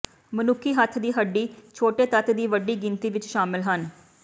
ਮਨੁੱਖੀ ਹੱਥ ਦੀ ਹੱਡੀ ਛੋਟੇ ਤੱਤ ਦੀ ਵੱਡੀ ਗਿਣਤੀ ਵਿੱਚ ਸ਼ਾਮਲ ਹਨ